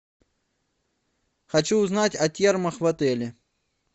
хочу узнать о термах в отеле